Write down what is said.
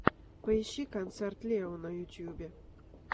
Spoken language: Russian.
поищи концерт лео на ютубе